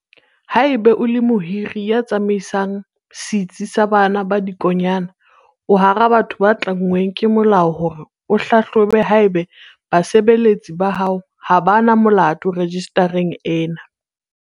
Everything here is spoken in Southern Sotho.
Haeba o le mohiri ya tsamaisang setsi sa bana ba dikonyana, o hara batho ba tlanngweng ke molao hore o hlahlobe haeba basebeletsi ba hao ha ba na molato rejistareng ena.